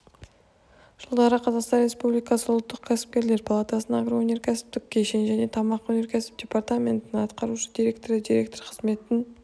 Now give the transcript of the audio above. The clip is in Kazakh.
жылдары қазақстан республикасы ұлттық кәсіпкерлер палатасының агроөнеркәсіптік кешен және тамақ өнеркәсібі департаментінің атқарушы директоры директоры қызметін